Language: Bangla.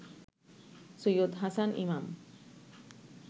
সৈয়দ হাসান ইমাম